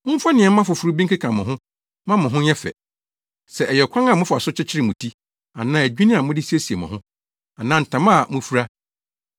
Mommfa nneɛma foforo bi nkeka mo ho mma mo ho nyɛ fɛ; sɛ ɛyɛ ɔkwan a mofa so kyekyere mo ti, anaa adwinne a mode siesie mo ho, anaa ntama a mufura.